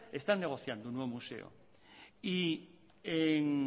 están negociando un nuevo museo en